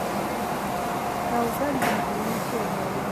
Kawga gir ng'icho moro matin kata koti mar liet sama kor lwasi olokore.